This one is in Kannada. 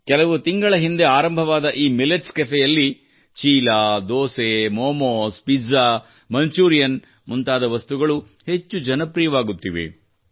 ಕೆಲವು ತಿಂಗಳ ಹಿಂದೆ ಆರಂಭವಾದ ಈ ಮಿಲ್ಲೆಟ್ಸ್ ಕೆಫೆಯಲ್ಲಿ ಚೀಲಾ ದೋಸೆ ಮೊಮೊಸ್ ಪಿಜ್ಜಾ ಮಂಚೂರಿಯನ್ ಮುಂತಾದ ವಸ್ತುಗಳು ಹೆಚ್ಚು ಜನಪ್ರಿಯವಾಗುತ್ತಿವೆ